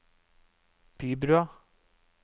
Bybrua